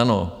Ano.